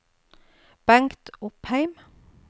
Bengt Opheim